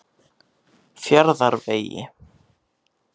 Fjarðarvegi